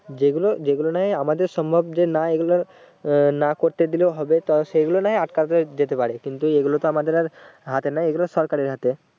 যেগুলো যেগুলো নয় আমাদের সম্ভব যে না এগুলো আহ না করতে দিলেও হবে তো সে গুলো নয় আটকাতে দিতে পারে কিন্তু এগুলোতো আমাদের আর হাতে নেই এগুলো সরকারের হাতে